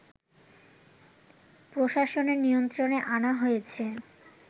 প্রশাসনের নিয়ন্ত্রণে আনা হয়েছে